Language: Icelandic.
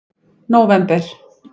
nóvember